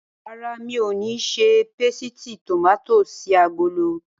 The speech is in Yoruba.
Rárá, mi ò ní ṣe pésìtì tòmátì sí agolo.